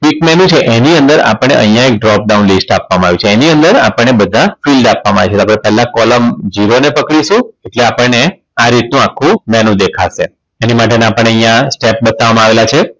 click menu છે એની અંદર આપણે અહીંયા Drop down list આપવામાં આવ્યું છે એની અંદર આપણને બધા field આપવામાં આવી છે એટલે આપણે પેલા column ઝીરો ને પકડીશું પછી આપણને આ રીત નું આખું મેનુ દેખાશે એની માટેના આપણને એના step બતાવવામાં આવેલા છે